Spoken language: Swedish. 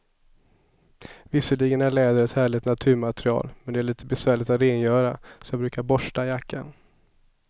Visserligen är läder ett härligt naturmaterial, men det är lite besvärligt att rengöra, så jag brukar borsta jackan.